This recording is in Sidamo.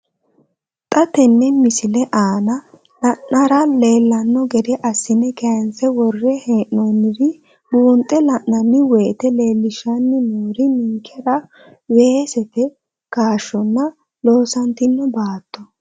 Xa tenne missile aana la'nara leellanno gede assine kayiinse worre hee'noonniri buunxe la'nanni woyiite leellishshanni noori ninkera weesete kaashshonna loosantinno baatto.